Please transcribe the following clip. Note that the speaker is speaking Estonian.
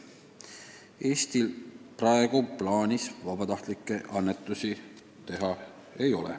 Eestil praegu plaanis vabatahtlikke annetusi teha ei ole.